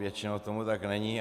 Většinou tomu tak není.